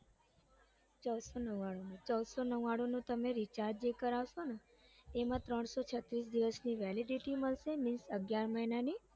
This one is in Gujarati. ચૌદસો નવ્વાણું નો ચૌદસો નવ્વાણુનું તમે જે recharge જે કરાવસોને એમાં ત્રણસો છત્રીસ દિવસની validity મળશે means અગિયાર મહિનાની